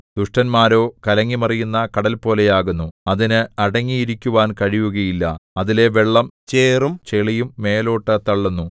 ദുഷ്ടന്മാരോ കലങ്ങിമറിയുന്ന കടൽപോലെയാകുന്നു അതിന് അടങ്ങിയിരിക്കുവാൻ കഴിയുകയില്ല അതിലെ വെള്ളം ചേറും ചെളിയും മേലോട്ടു തള്ളുന്നു